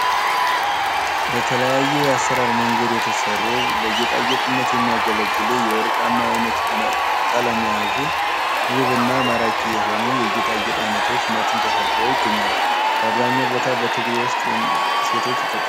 በተለያየ አሰራር መንገድ የተሰሩ ለጌጣጌጥነት የሚያገለግሉ የወርቃማ አይነት ቀለም የያዙ ውብና ማራኪ የሆኑ የጌጣጌጥ አይነቶች መቱን ተደርድረው ይገኛሉ። በአብዛኛው ቦታ በትግሬ ውስጥ ሴቶች ይጠቀሙበታል።